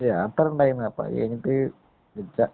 ഒരു യാത്ര ഉണ്ടാര്ന്നു. അത് കഴിഞ്ഞിട്ട്